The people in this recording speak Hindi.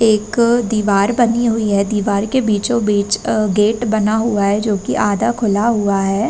एक अ दिवार बनी हुई है। दिवार के बीचो बीच अ गेट बना हुआ है। जोकि आधा खुला हुआ है।